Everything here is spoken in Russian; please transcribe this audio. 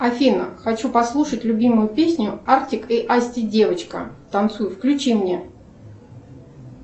афина хочу послушать любимую песню артик и асти девочка танцуй включи мне